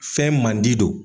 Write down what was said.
Fɛn mandi don.